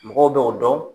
Mɔgɔw b'o dɔn